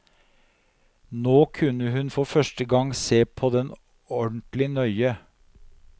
Nå kunne hun for første gang se på den ordentlig nøye.